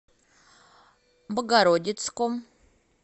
богородицком